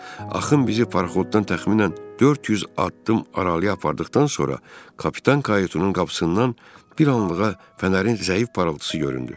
Axın bizi paraxoddan təxminən 400 addım aralıya apardıqdan sonra kapitan kayutunun qapısından bir anlığa fənərin zəif parıltısı göründü.